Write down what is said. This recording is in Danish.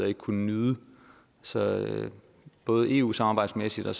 ikke kun nyde så både eu samarbejdsmæssigt og